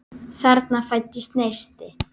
Þarna fæddist neisti.